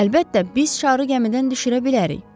Əlbəttə, biz şarı gəmidən düşürə bilərik.